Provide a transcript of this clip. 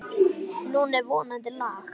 Nú er vonandi lag.